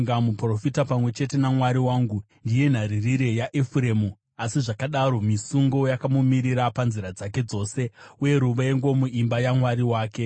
Muprofita, pamwe chete naMwari wangu, ndiye nharirire yaEfuremu, asi zvakadaro misungo yakamumirira panzira dzake dzose, uye ruvengo muimba yaMwari wake.